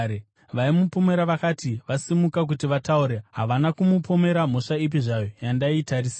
Vaimupomera vakati vasimuka kuti vataure, havana kumupomera mhosva ipi zvayo yandaitarisira.